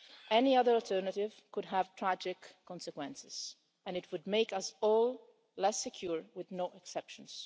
Any other alternative could have tragic consequences and it would make us all less secure, with no exceptions.